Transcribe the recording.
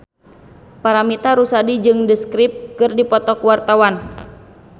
Paramitha Rusady jeung The Script keur dipoto ku wartawan